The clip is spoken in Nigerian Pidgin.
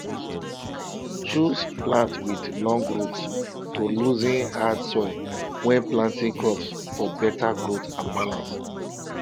choose plants with long roots to loosen hard soil when planting crops for better growth and balance